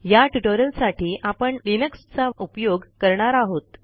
या ट्युटोरियलसाठी आपण लिनक्स चा उपयोग करणार आहोत